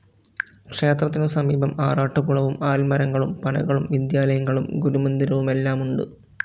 ക്ഷേത്രത്തിനു സമീപം ആറാട്ടുകുളവും ആല്മരങ്ങളും പനകളും വിദ്യാലയങ്ങളും ഗുരുമന്ദിരവുമെല്ലാമുണ്ട്.